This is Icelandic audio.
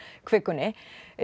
kvikunni